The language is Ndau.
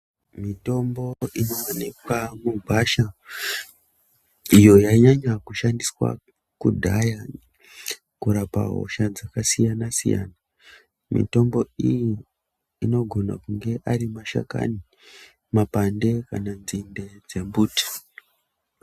Mitombo inoonekwa mugwasha iyo yainyanya kushandiswa kudhaya kurapa hosha dzakasiyana-siyana. Mitombo iyi anogone kunge ari mashakani, mapande kana nzinde dzembuti.